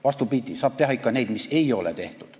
Vastupidi, teha saab ikka neid asju, mida ei ole tehtud.